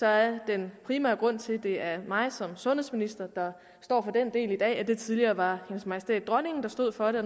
er den primære grund til at det er mig som sundhedsminister der står for den del i dag at det tidligere var hendes majestæt dronningen der stod for det